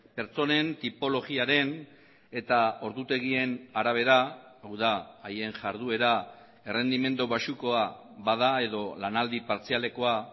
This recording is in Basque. pertsonen tipologiaren eta ordutegien arabera hau da haien jarduera errendimendu baxukoa bada edo lanaldi partzialekoa